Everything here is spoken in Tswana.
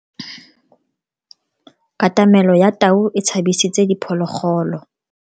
Katamelo ya tau e tshabisitse diphologolo.